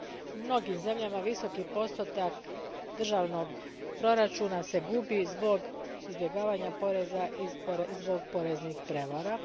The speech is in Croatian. U mnogim zemljama visoki postotak državnog proračuna se gubi zbog izbjegavanja poreza i poreznih prijevara.